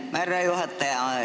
Aitäh, härra juhataja!